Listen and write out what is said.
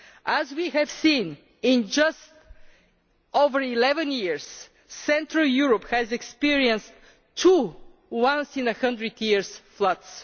As we have seen, in just over 11 years Central Europe has experienced two once in a hundred years floods.